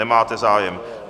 Nemáte zájem.